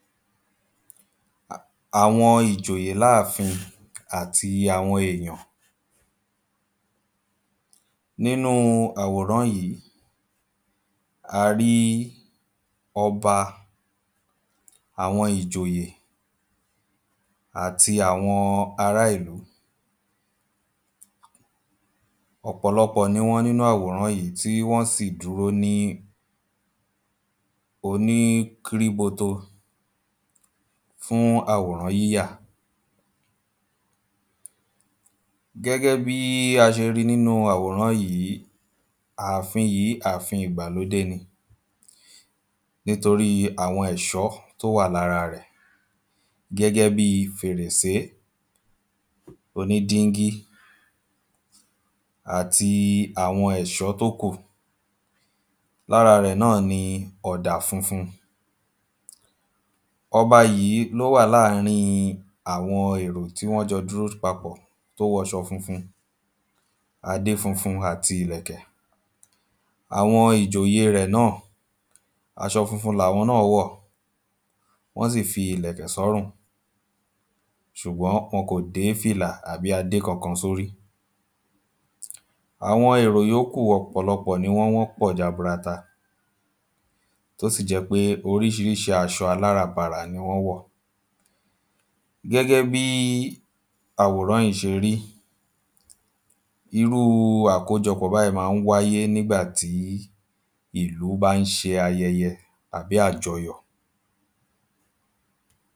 àwọn ìjòyè láàfin àti àwọn èyàn nínú àwòrán yí a rí ọba àwọn ìjòyè àti àwọn ara ìlú ọ̀pọ̀lọpọ̀ ni wọ́n nínú àwòrán yí tí wọ́n sì dúró ní oní kíríboto fùn àwòrán yíyà gẹ́gẹ́ bí a ṣe nínú àwòrán yí áfin yí áfin ìgbàlódé ni nítorí àwọn èṣọ́ to wa lara rẹ gẹ́gẹ́ bí fèrèsé oní díngí àti àwọn èṣọ́ tó kù lára rẹ̀ náà ni ọ̀dà funfun ọba yí ló wà láàrín àwọn èrò tí wọ́n jọ dúró papọ̀ tó wọṣọ funfun adé funfun àti ilẹ̀kẹ̀ àwọn ìjòyè rẹ̀ náà aṣọ funfun làwọn náà wọ̀ wọ́n sì fi ilẹ̀kẹ̀ sọ́rùn ṣùgbón wọn kò dé fìlà àbí adé kankan sórí àwọn èrò yóókù ọ̀pọ̀lọpọ̀ ni wọ́n pọ̀ jaburata tó sì jẹ́ pé orísirísi aṣọ aláràǹbarà ni wọ́n wọ̀ gẹ́gẹ́ bí àwòrán yí ṣe rí irú àkójọpọ̀ báyí má ń wáyé nígbà tí ìlú ba ń ṣe ayẹyẹ àbí àjọyọ̀